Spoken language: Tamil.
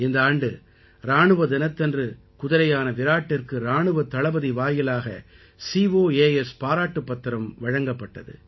இந்த ஆண்டு இராணுவ தினத்தன்று குதிரையான விராட்டிற்கு இராணுவத் தளபதி வாயிலாக கோஸ் பாராட்டுப் பத்திரம் வழங்கப்பட்டது